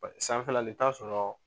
Sanfɛla ni t'a sɔrɔ